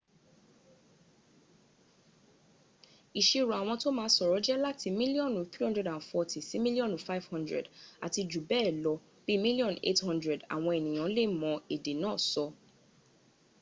ìṣirò àwọn tó ma sọ̀rọ̀ jẹ́ láti mílíọ́nù 340 sí mílíọ́nù 500 àti jù bẹ́ẹ̀ lọ bí mílíọ́nù 800 àwọn ènìyàn lè mọ èdè náà sọ